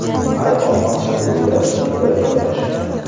Ayvon osti bo‘ylab supa joylashgan.